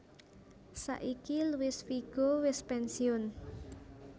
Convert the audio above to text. Saiki Luis Figo wis pensiun